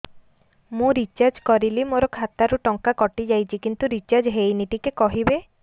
ମୁ ରିଚାର୍ଜ କରିଲି ମୋର ଖାତା ରୁ ଟଙ୍କା କଟି ଯାଇଛି କିନ୍ତୁ ରିଚାର୍ଜ ହେଇନି ଟିକେ କହିବେ